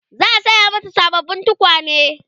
za'a saya mata sababbin tukwane